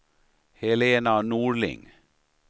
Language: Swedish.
Helena Norling